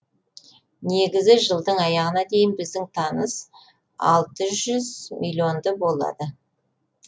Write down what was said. негізі жылдың аяғына дейін біздің табыс алты жүз миллионды болады